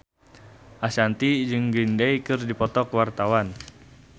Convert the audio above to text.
Ashanti jeung Green Day keur dipoto ku wartawan